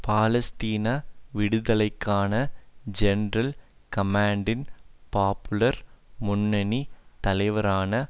பாலஸ்தீன விடுதலைக்கான ஜெனரல் கமான்டின் பாப்புலர் முன்னணி தலைவரான